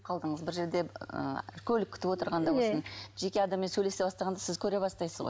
бір жерде ы көлік күтіп отырғанда болсын жеке адаммен сөйлесе бастағанда сіз көре бастайсыз ғой